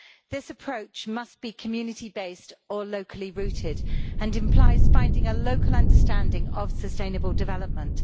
This approach must be community based or locally rooted and it implies finding a local understanding of sustainable development.